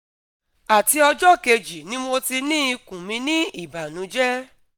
ati ọjọ keji ni mo ti ni ikun mi ni ibanujẹ